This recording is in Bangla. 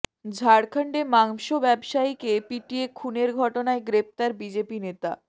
ঝাড়খণ্ডে মাংস ব্যবসায়ীকে পিটিয়ে খুনের ঘটনায় গ্রেফতার বিজেপি নেতা